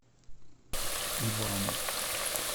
ивану